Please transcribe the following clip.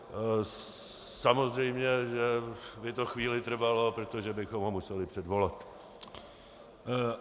Samozřejmě, že by to chvíli trvalo, protože bychom ho museli předvolat.